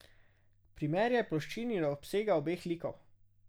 Primerjaj ploščini in obsega obeh likov.